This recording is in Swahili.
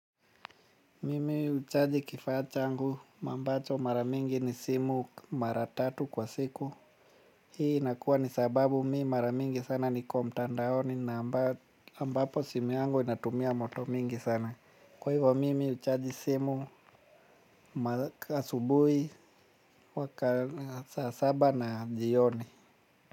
Mimi huchaji kifaa changu, ambacho mara mingi ni simu mara tatu kwa siku. Hii nakuwa ni sababu me mara mingi sana niko mtandaoni na ambapo simu yangu inatumia moto mingi sana. Kwa hivyo mimi huchaji simu asubuhi weka saa saba na jioni.